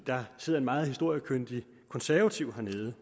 der sidder et meget historiekyndigt konservativt medlem